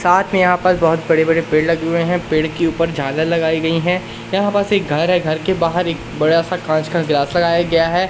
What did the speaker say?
साथ में यहां बहुत बड़े-बड़े पेड़ लगे हुए हैं पेड़ के ऊपर झालर लगाई गई हैं यहां बस एक घर है घर के बाहर एक बड़ा सा कांच का गिलास लगाया गया है।